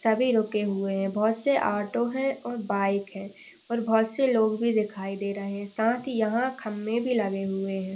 सभी रुके हुए है बहोत से ऑटो हैं और बाइक हैं और बहोत से लोग भी दिखाई दे रहे है साथ ही यहा खम्मे भी लगे हुए है।